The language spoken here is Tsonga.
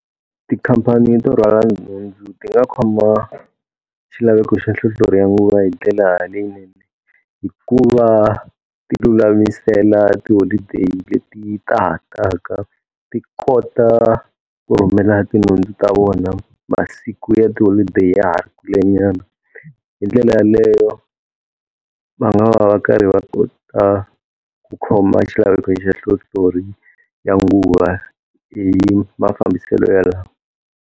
Tikhampani to rhwala nhundzu ti nga khoma xilaveko xa nhlohlorhi ya nguva hi ndlela leyinene hikuva a ti lulamisela tiholideyi leti taka. Ti kota ku rhumela tinhundzu ta vona masiku ya tiholideyi ya ha ri kulenyana. Hi ndlela yaleyo va nga va va karhi va kota ku khoma xilaveko xa nhlohlorhi ya nguva hi mafambiselo yalawa.